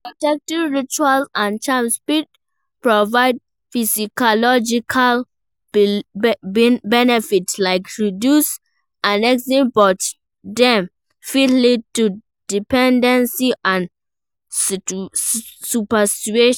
Protection rituals and charms fit provide psychological benefit like reduced anxiety, but dem fit lead to dependency and superstition.